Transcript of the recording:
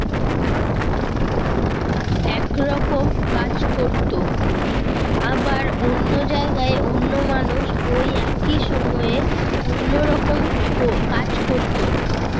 একরকম কাজ করতো। আবার অন্য জায়গায় অন্য মানুষ ওই একই সময়ে অন্য রকম কো~ কাজ করতো।